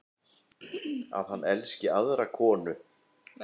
Að hann elski aðra konu.